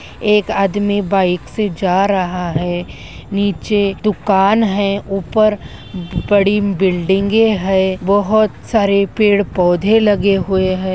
एक आदमी बाइक से जा रहा है नीचे दुकान है ऊपर बड़ी बिल्डिंगे है बहोत सारे पेड़-पौधे लगे हुए हैं।